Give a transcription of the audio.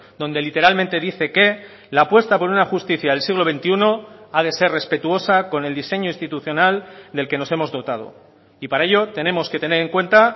donde literalmente dice que la apuesta por una justicia del siglo veintiuno ha de ser respetuosa con el diseño institucional del que nos hemos dotado y para ello tenemos que tener en cuenta